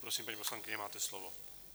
Prosím, paní poslankyně, máte slovo.